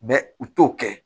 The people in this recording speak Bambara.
u t'o kɛ